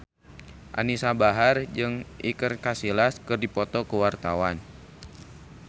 Anisa Bahar jeung Iker Casillas keur dipoto ku wartawan